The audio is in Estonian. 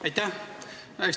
Aitäh!